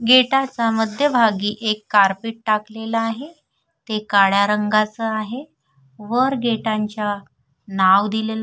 गेटा च्या मध्यभागी एक कारपेट टाकलेल आहे ते काळ्या रंगाच आहे वर गेटांच्या नाव दिलेल--